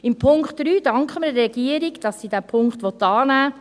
Beim Punkt 3 danken wir der Regierung, dass sie diesen Punkt annehmen will.